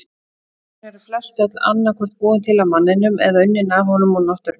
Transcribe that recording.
Fíkniefni eru flestöll annað hvort búin til af manninum eða unnin af honum úr náttúrunni.